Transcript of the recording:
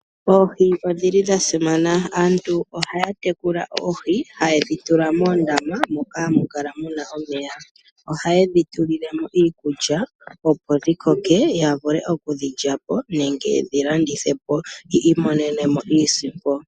Oohi odha simana. Aantu ohaya tekula oohi haye dhi tula moondama moka hamu kala mu na omeya, ohaye dhi tulile mo iikulya opo dhi koke ya vule okudhi lya po nenge yedhi landithe po yi imonene mo iisimpo.